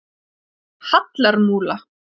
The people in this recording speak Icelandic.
Hallarmúla